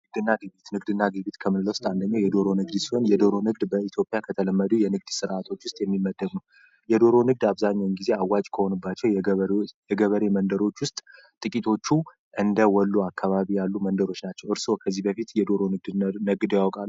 የዶሮ ንግድ በኢትዮጵያ ከተለመዱ የንግድ ስርዓቶች የሚመደቡ የዶሮ ንግድ አብዛኛው ጊዜ አዋጅ ከሆኑባቸው የገበሬ የገበሬ መንደሮች ውስጥ ጥቂቶቹ እንደ ወሎ አካባቢ ያሉ መንደሮች ናቸው እርሶ ከዚህ በፊት የዶሮ ንግድ ያውቃሉ? አላዉቅም